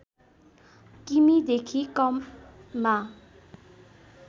किमि देखि कममा